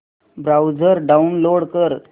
browser download कर